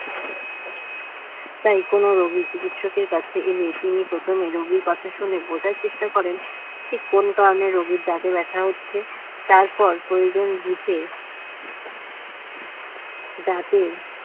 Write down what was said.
তাই কোন রোগী চিকিৎসকের কাছে এলে তিনি প্রথমে রোগীর কথা শুনে বোঝার চেষ্টা করেন ঠিক কোন কারণে রোগীর দাঁতে ব্যথা হচ্ছে তারপর প্রয়োজন বুঝে দাঁতের